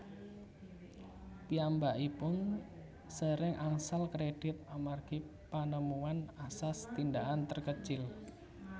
Piyambakipun sering angsal kredit amargi panemuan asas tindakan terkecil